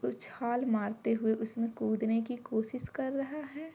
उछाल मारते हुए उसमें कूदने की कोशिश कर रहा है।